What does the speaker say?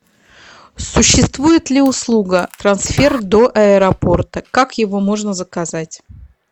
существует ли услуга трансфер до аэропорта как его можно заказать